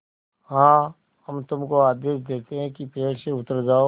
हाँ हम तुमको आदेश देते हैं कि पेड़ से उतर जाओ